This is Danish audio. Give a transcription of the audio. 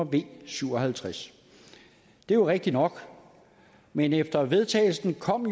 v syv og halvtreds det er jo rigtigt nok men efter vedtagelsen kom